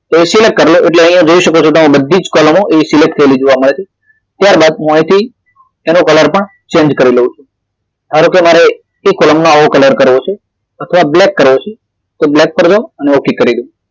તો એ select કરી લવ જોઈ શકો છો કે બધી જ કોલમો એ select થઈ ગયેલી જોવા મળે છે ત્યારબાદ હું અહીથી એનો કલર પણ change કરી લવ છું હવે ધારો કે મારે એ કોલમનો આવો કલર કરવો છે તો આ black કરવો છે તો black કરી દયો અને ઓક કરી દયો